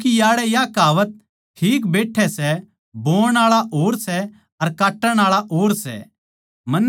क्यूँके याड़ै या कहावत ठीक बैठै सैः बोणआळा और सै अर काट्टण आळा और